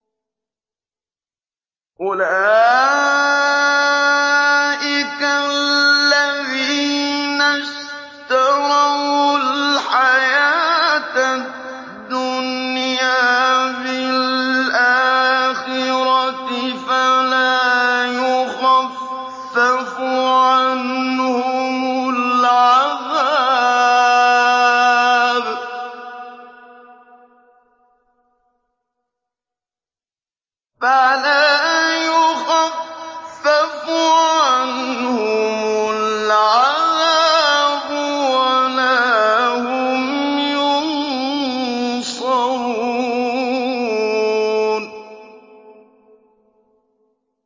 أُولَٰئِكَ الَّذِينَ اشْتَرَوُا الْحَيَاةَ الدُّنْيَا بِالْآخِرَةِ ۖ فَلَا يُخَفَّفُ عَنْهُمُ الْعَذَابُ وَلَا هُمْ يُنصَرُونَ